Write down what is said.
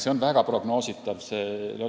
See on väga prognoositav.